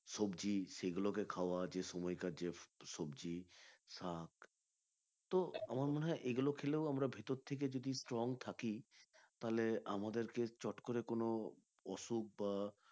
সবজি সেগুলো কে খাওয়া যে সময়কার যে সবজি শাক তো আমার মনে হয় এগুলো খেলেও আমরা ভিতর থেকে যদি strong থাকি তাহলে আমাদেরকে চট করে কোনো অসুখ বা